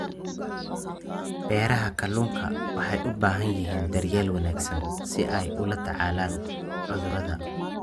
Beeraha kalluunka waxay u baahan yihiin daryeel wanaagsan si ay ula tacaalaan cudurrada.